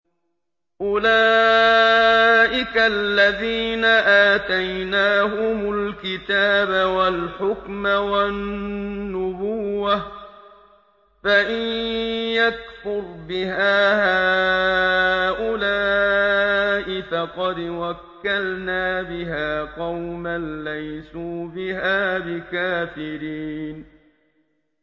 أُولَٰئِكَ الَّذِينَ آتَيْنَاهُمُ الْكِتَابَ وَالْحُكْمَ وَالنُّبُوَّةَ ۚ فَإِن يَكْفُرْ بِهَا هَٰؤُلَاءِ فَقَدْ وَكَّلْنَا بِهَا قَوْمًا لَّيْسُوا بِهَا بِكَافِرِينَ